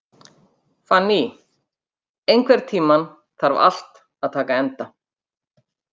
Fanný, einhvern tímann þarf allt að taka enda.